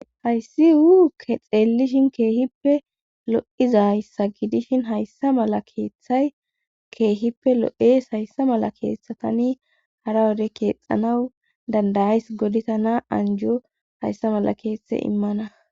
Hayssi uuke xeellishin keehippe lo7izayssa gidishin hayssa mala keeththay keehippe lo7ees hayssa mala keeththatani hara wode keexxanawu dandayays godita naa anjo hayssa mala keeththe immana.